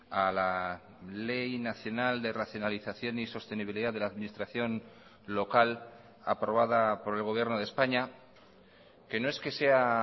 a la ley nacional de racionalización y sostenibilidad de la administración local aprobada por el gobierno de españa que no es que sea